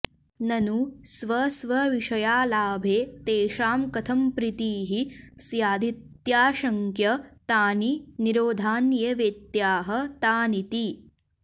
ननु स्वस्वविषयालाभे तेषां कथं प्रीतिः स्यादित्याशङ्क्य तानि निरोधान्येवेत्याह तानीति